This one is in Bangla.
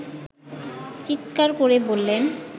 চিৎকার করে বললেন